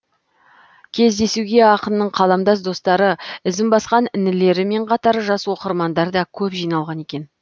кездесуге ақынның қаламдас достары ізін басқан інілерімен қатар жас оқырмандар да көп жиналған екен